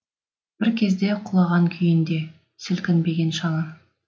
бір кезде құлаған күйінде сілкінбеген шаңы